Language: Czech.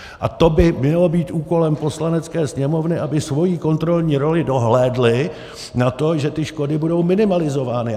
A to by mělo být úkolem Poslanecké sněmovny, aby svou kontrolní rolí dohlédla na to, že ty škody budou minimalizovány.